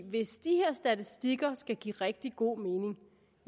hvis de her statistikker skal give rigtig god mening